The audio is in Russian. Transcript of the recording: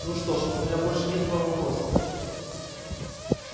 ну что ж у меня больше нет к вам вопросов